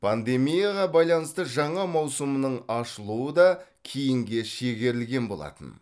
пандемияға байланысты жаңа маусымның ашылуы да кейінге шегерілген болатын